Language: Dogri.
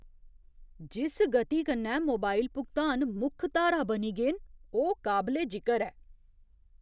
जिस गति कन्नै मोबाइल भुगतान मुक्ख धारा बनी गे न, ओह् काबले जिकर ऐ।